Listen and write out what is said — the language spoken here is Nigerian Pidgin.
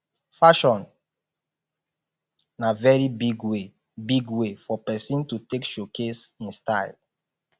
fashion na very big way big way for persin to take showcase in style